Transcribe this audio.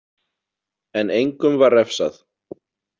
En engum var refsað.